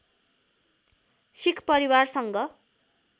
सिख परिवारसँग